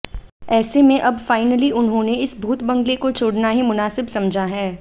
ऐसे में अब फाइनली उन्होंने इस भूत बंगले को छोड़ना ही मुनासिब समझा है